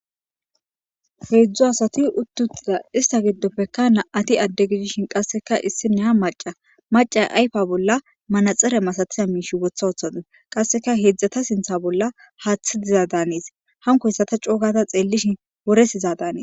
heedzdzu asati uttuttiza ista giddopeka na7ati adde gidishin qasseka issinne ha maca maca ayfa bolla manaxere masatiza miishi wotha wothade qasseka heedzdzata sintha bolla haathi diza daanis hanko hyssata coogata xeellishin woresiza daanii